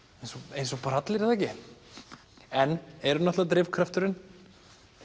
eins og allir er það ekki en er náttúrulega drifkrafturinn